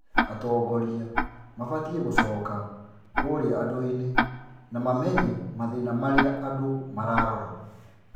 Atongoria mabatiĩ gũcoka kũria andũ-inĩ na mamenye mathĩna marĩa andũ mararora